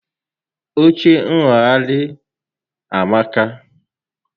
Oche ṅṅụgharị a amaka